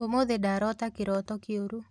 ũmũthĩ ndarota kĩroto kĩũru